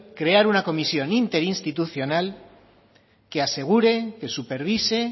crear una comisión interinstitucional que asegure que supervise